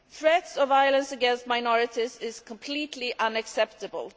Threats of violence against minorities are completely unacceptable.